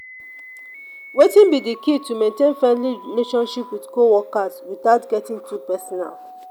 wetin be di key to maintain friendly relationships with co-workers without getting too personal?